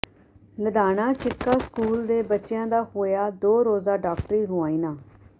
Ladhana Jhikka school ਦੇ ਬੱਚਿਆਂ ਦਾ ਹੋਇਆ ਦੋ ਰੋਜ਼ਾ ਡਾਕਟਰੀ ਮੁਆਇਨਾ